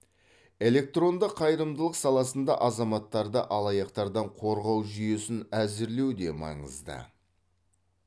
электронды қайырымдылық саласында азаматтарды алаяқтардан қорғау жүйесін әзірлеу де маңызды